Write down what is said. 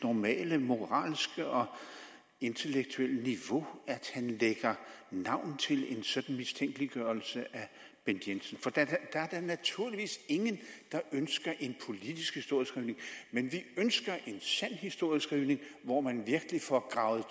normale moralske og intellektuelle niveau at han lægger navn til en sådan mistænkeliggørelse af bent jensen der er da naturligvis ingen der ønsker en politisk historieskrivning men vi ønsker en sand historieskrivning hvor man virkelig får gravet